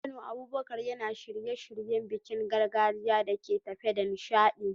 A Kano, Abubakar yana shirye-shiryen bikin gargajiya da ke tafe da nishadi.